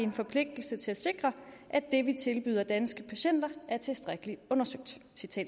en forpligtelse til at sikre at det vi tilbyder danske patienter er tilstrækkeligt undersøgt